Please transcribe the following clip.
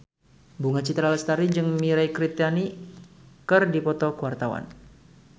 Bunga Citra Lestari jeung Mirei Kiritani keur dipoto ku wartawan